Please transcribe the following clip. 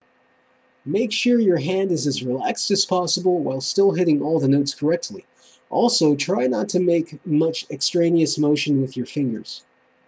make sure your hand is as relaxed as possible while still hitting all the notes correctly also try not to make much extraneous motion with your fingers